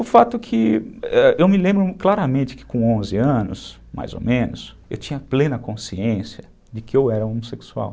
O fato é que eu me lembro claramente que com onze anos, mais ou menos, eu tinha plena consciência de que eu era homossexual.